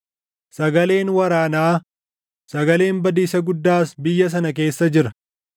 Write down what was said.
Sagaleen waraanaa, sagaleen badiisa guddaas biyya sana keessa jira!